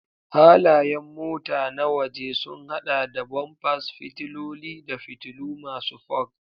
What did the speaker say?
Halayen mota na waje sun hada da bumpers, fitiloli, da fitilu masu fog.